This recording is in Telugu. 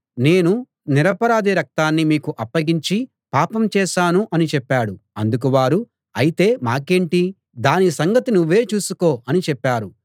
నేను నిరపరాధి రక్తాన్ని మీకు అప్పగించి పాపం చేశాను అని చెప్పాడు అందుకు వారు ఐతే మాకేంటి దాని సంగతి నువ్వే చూసుకో అని చెప్పారు